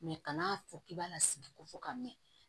kan'a fɔ k'i b'a lasigi ko fɔ ka mɛn